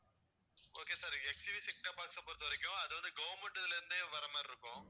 okay sir HCV setup box அ பொறுத்தவரைக்கும் அது வந்து government ல இருந்தே வர்ற மாதிரி இருக்கும்